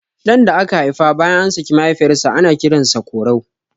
Ɗan da aka haifa bayan an saki mahaifiyar sa ana kiran sa Korau